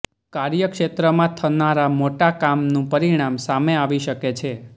કાર્યક્ષેત્રમાં થનારા મોટા કામનું પરિણામ સામે આવી શકે છે